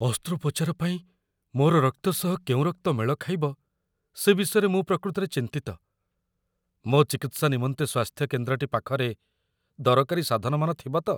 ଅସ୍ତ୍ରୋପଚାର ପାଇଁ, ମୋର ରକ୍ତ ସହ କେଉଁ ରକ୍ତ ମେଳ ଖାଇବ, ସେ ବିଷୟରେ ମୁଁ ପ୍ରକୃତରେ ଚିନ୍ତିତ। ମୋ' ଚିକିତ୍ସା ନିମନ୍ତେ ସ୍ୱାସ୍ଥ୍ୟକେନ୍ଦ୍ରଟି ପାଖରେ ଦରକାରୀ ସାଧନମାନ ଥିବ ତ?